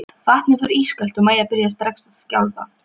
Vatnið var ískalt og Maja byrjaði strax að skjálfa.